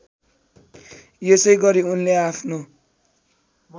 यसैगरी उनले आफ्नो